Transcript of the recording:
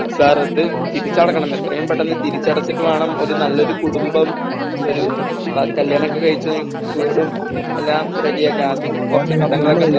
sir അത് തിരിച്ചടക്കണം എത്രയും പെട്ടന്ന് തിരിച്ചടക്കണം എത്രയും പെട്ടെന്ന് തിരിച്ചടച്ചിട്ട് വേണം ഒരു നല്ലൊരു കുടുംബം ഒരു കല്യാണമൊക്കെ കഴിച്ച് വീടും എല്ലാം റെഡി ആക്കാൻ കുറച്ചു കടങ്ങളൊക്കെ ഉണ്ട്